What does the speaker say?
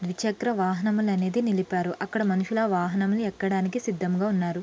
ద్వి చక్ర వాహనములు అనేది నిలిపారు అక్కడ మనుసులు వాహనములు ఎక్కడానికి సిద్ధముగా ఉన్నారు.